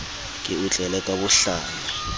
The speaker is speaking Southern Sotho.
ke o tlele ka bohlanya